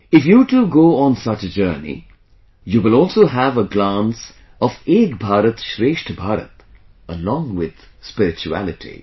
If you too go on such a journey, you will also have a glance of Ek Bharat Shreshtha Bharat along with spirituality